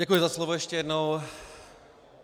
Děkuji za slovo ještě jednou.